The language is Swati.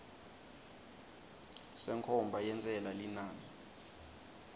senkhomba yentsela linani